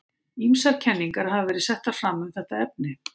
Ýmsar kenningar hafa verið settar fram um þetta efni.